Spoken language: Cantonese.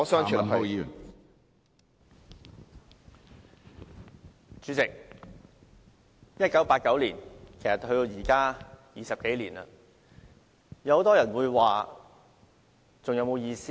代理主席 ，1989 年距今已有20多年，很多人會問，我們舉行悼念還有沒有意思呢？